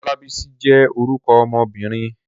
Olabisi jé orúkọ ọmobìnrin.